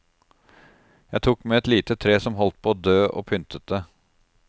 Jeg tok med et lite tre som holdt på å dø og pyntet det.